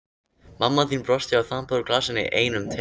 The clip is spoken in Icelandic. Mamma þín brosti og þambaði úr glasinu í einum teyg.